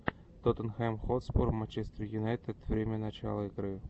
тоттенхэм хотспур манчестер юнайтед время начала игры